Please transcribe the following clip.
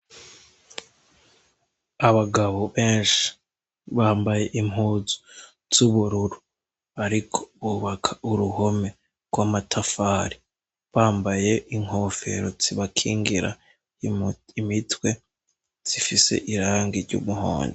Abagabo benshi, bambaye impuzu z'ubururu, bariko bubaka uruhome rw'amatafari, bambaye inkofero zibakingira imitwe, zifise irangi ry'umuhondo.